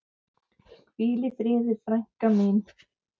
Hvíl í friði frænka mín.